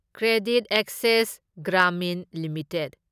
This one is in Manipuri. credit access Grameen limited